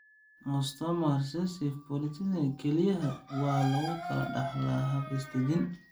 Autosomal recessive polycystic kelyaha (ARPKD) waxa lagu kala dhaxlaa hab is-dajin.